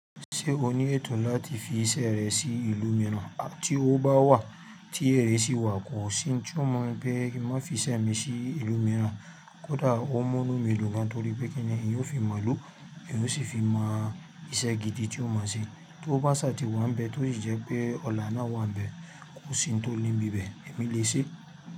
Ṣé o ní ẹ̀tò láti fi iṣẹ́ rẹ sí ìlú mìíràn? Tí owó bá wà, tí ere sì wà kò sí, oun tí o mumi pé ki n má fi iṣẹ́ mi sí ìlú mìíràn, kódà ó n múnú mi dùn gan torí pé kíni eeyan ó fi mọ̀ ilu, èyàn ó sì fi mọ ìṣẹ́ gidi tí o mọ̀ sí. Tí owó bá ṣa ti wá ń bẹ tó sì jẹ́ pé ọ̀la náà wà ń bẹ, kò sí ohun tó le ni ibibẹ̀, èmi lè ṣe.